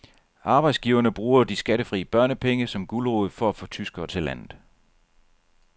Arbejdsgiverne bruger de skattefri børnepenge som gulerod for at få tyskere til landet.